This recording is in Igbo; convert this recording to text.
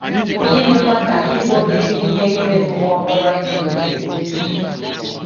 Gịnịkwa ka ịbụ onye ji ihe ime mmụọ kpọrọ ihe gụnyere? ’